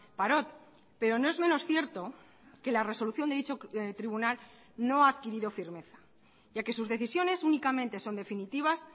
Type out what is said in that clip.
parot pero no es menos cierto que la resolución de dicho tribunal no ha adquirido firmeza ya que sus decisiones únicamente son definitivas